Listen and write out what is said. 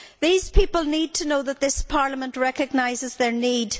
These people need to know that this Parliament recognises their need.